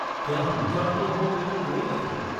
ત્યાં હું જાણતો હોઉં એવું કોઈ નથી.